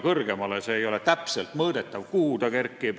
See, kuhu ta kerkib, ei ole täpselt mõõdetav.